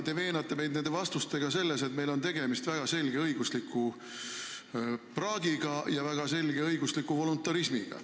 Te veenate meid nende vastustega selles, et meil on tegemist väga selge õigusliku praagiga ja väga selge õigusliku voluntarismiga.